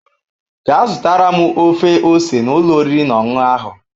Gaa zụtara m ofe ose n'ụlọ oriri na ọṅụṅụ ahụ